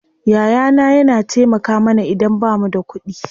Yaya na yana taimaka mana idan bamu da kuɗi.